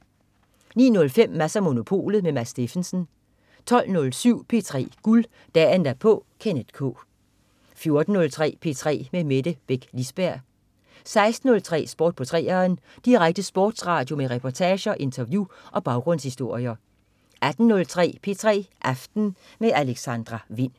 09.05 Mads & Monopolet. Mads Steffensen 12.07 P3 Guld. Dagen derpå. Kenneth K 14.03 P3 med Mette Beck Lisberg 16.03 Sport på 3'eren. Direkte sportsradio med reportager, interview og baggrundshistorier 18.03 P3 aften med Alexandra Wind